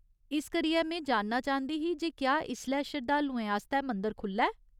इस करियै, में जानना चांह्दी ही जे क्या इसलै शरधालुएं आस्तै मंदर खु'ल्ला ऐ।